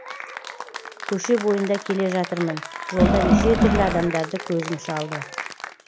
көше бойында келе жатырмын жолда неше түрлі адамдарды көзім шалды